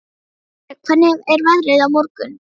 Freygarður, hvernig er veðrið á morgun?